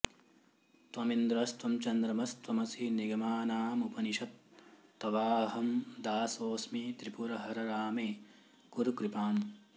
त्वमिन्द्रस्त्वं चन्द्रस्त्वमसि निगमानामुपनिषत् तवाहं दासोऽस्मि त्रिपुरहररामे कुरु कृपाम्